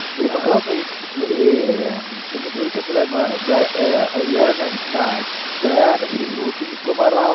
એમાં ખબર પેલું તમે જોયું છે પેલું અય્યરને દયા પેલી જોરથી મુક્કો મારે